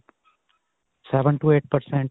seven to eight percent.